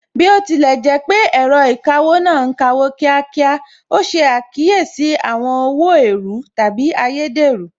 Bí ó tilẹ̀ jẹ́ pé ẹ̀rọ ìkawó náà ń kawó ní kíákíá, ó ṣe àkíyèsí àwọn owó èèrú/ ayédèrú